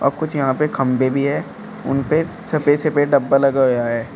कुछ यहां पे खंभे भी हैं उन पे सफेद सफेद डब्बा लगा हुआ है।